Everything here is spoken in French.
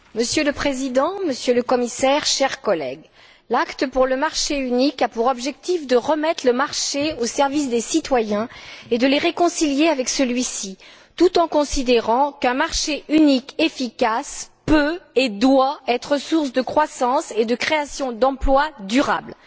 Monsieur le Président, Monsieur le Commissaire, chers collègues, l'acte pour le marché unique a pour objectif de remettre le marché au service des citoyens et de les réconcilier avec celui ci, tout en considérant qu'un marché unique efficace peut et doit être source de croissance et de création d'emplois durables.